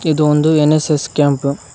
ಇದು ಒಂದು N S S camp .